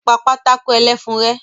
Pa pátákó ẹlẹ́fun rẹ́!